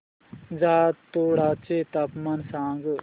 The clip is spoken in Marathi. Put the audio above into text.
जातोडा चे तापमान सांग